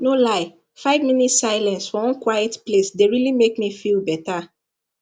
no lie five minutes silence for one quiet place dey really make me feel better